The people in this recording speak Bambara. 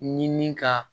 Ɲini ka